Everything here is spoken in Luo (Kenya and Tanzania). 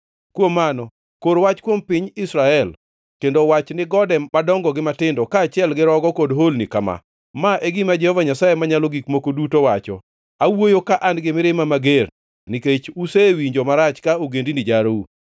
Kuom mano, kor wach kuom piny Israel, kendo wach ni gode madongo gi matindo, kaachiel gi rogo kod holni kama: ‘Ma e gima Jehova Nyasaye Manyalo Gik Moko Duto wacho: Awuoyo ka an gi mirima mager, nikech usewinjo marach ka ogendini jarou.